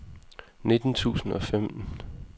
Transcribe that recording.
nitten tusind og femten